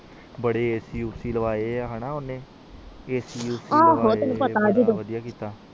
ਬਾਰੇ ਐਸੀ ਐਸੀਲਾਵਾਂ ਕੇ ਓਹਨੇ ਬੜਾ ਵੜਿਆ ਕੀਤਾ